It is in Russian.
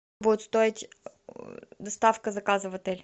будет стоить доставка заказа в отель